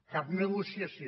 cap negociació